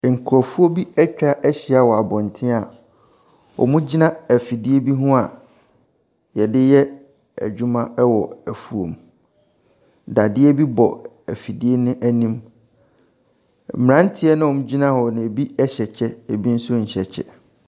Nkorɔfoɔ bi atwa ahyia wɔ abɔntene a ,wɔgyina afidie bi ho a,yɛde yɛ adwuma wɔ afuom, dadeɛ bi bɔ afidie no anim. Mmranteɛ no a ɛgyina hɔ no, ebi hyɛ kyɛ ebi nso nhyɛ kyɛ.